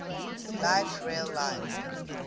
light rail line